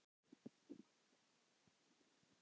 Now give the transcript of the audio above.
Magga og Kata.